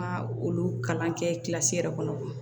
Ma olu kalan kɛ kilasi yɛrɛ kɔnɔ